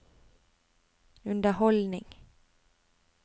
underholdning